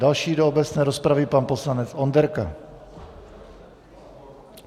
Další do obecné rozpravy pan poslanec Onderka.